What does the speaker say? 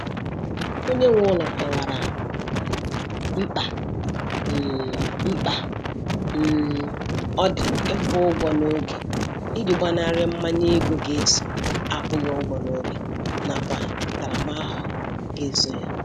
Onye nwe ụlọ kọwara um mkpa um mkpa um ọ dị ịkwụ ụgwọ n'oge iji gbanarị mmanye ego ga eso akwụghị ụgwọ n'oge nakwa ntaramahụhụ ga eso ya.